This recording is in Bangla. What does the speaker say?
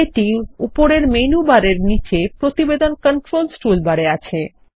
যেটিউপরের মেনু বার এর নীচে প্রতিবেদনControls টুলবারে আছে